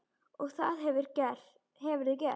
Og það hefurðu gert.